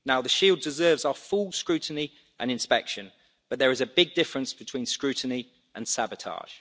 The Shield deserves our full scrutiny and inspection, but there is a big difference between scrutiny and sabotage.